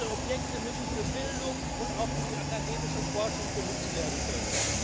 Diese Objekte müssen für Bildung und auch für die akademische Forschung genutzt werden können.